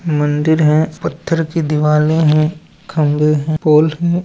मंदिर हैं। पाथे की दिवाले है। खामृ है। पोल है।